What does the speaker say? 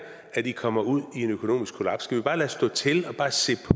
i komme ud i et økonomisk kollaps skal vi bare lade stå til og bare se